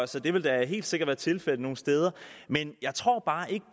så det vil da helt sikkert være tilfældet nogle steder men jeg tror bare ikke